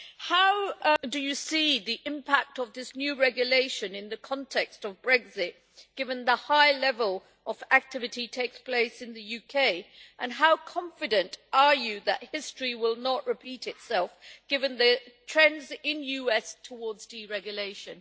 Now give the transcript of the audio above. How do you see the impact of this new regulation in the context of Brexit, given the high level of activity that takes place in the UK and how confident are you that history will not repeat itself, given the trends in the US towards deregulation?